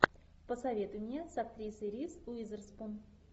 посоветуй мне с актрисой риз уизерспун